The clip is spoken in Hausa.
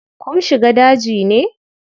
Kum shiga daji ne?